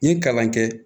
N ye kalan kɛ